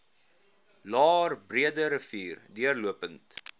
laer breederivier deurlopend